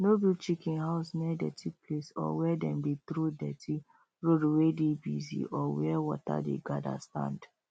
no build chicken house near dirty place or wey them dey throw dirty road wey dey bussy or where water dey gather stand